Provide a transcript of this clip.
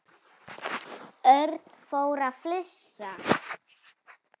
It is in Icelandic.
Örn fór að flissa.